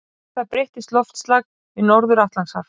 Við það breytist loftslag við Norður-Atlantshaf.